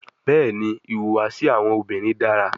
Bẹẹni, ihuwasi awọn obinrin dara